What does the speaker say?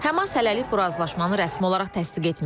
Həmas hələlik bu razılaşmanı rəsmi olaraq təsdiq etməyib.